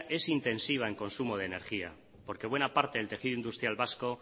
es intensiva en consumo de energía porque buena parte del tejido industrial vasco